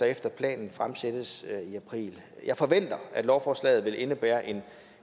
efter planen fremsættes i april jeg forventer at lovforslaget vil indebære en